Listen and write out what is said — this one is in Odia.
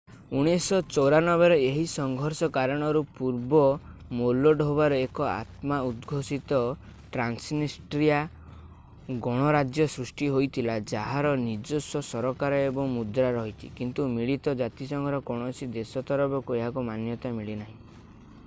1994 ରେ ଏହି ସଂଘର୍ଷ କାରଣରୁ ପୂର୍ବ ମୋଲଡୋଭାରେ ଏକ ଆତ୍ମ-ଉଦ୍‌ଘୋଷିତ ଟ୍ରାନ୍ସନିଷ୍ଟ୍ରିଆ ଗଣରାଜ୍ୟ ସୃଷ୍ଟି ହୋଇଥିଲା ଯାହାର ନିଜସ୍ୱ ସରକାର ଓ ମୁଦ୍ରା ରହିଛି କିନ୍ତୁ ମିଳିତ ଜାତିସଂଘର କୌଣସି ଦେଶ ତରଫକୁ ଏହାକୁ ମାନ୍ୟତା ମିଳିନାହିଁ।